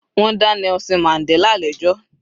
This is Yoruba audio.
Wọ́n dá Nelson Mandela lẹ́jọ́